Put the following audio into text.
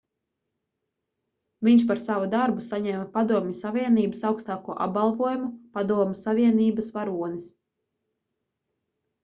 viņš par savu darbu saņēma padomju savienības augstāko apbalvojumu padomju savienības varonis